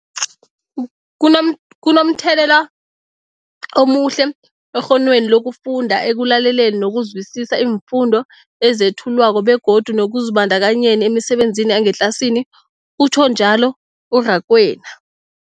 Kunom, kunomthelela omuhle ekghonweni lokufunda, ekulaleleni nokuzwisiswa iimfundo ezethulwako begodu nekuzibandakanyeni emisebenzini yangetlasini, utjhwe njalo u-Rakwena.